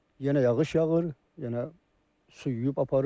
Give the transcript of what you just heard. Yenə yağış yağır, yenə su yuyub aparır.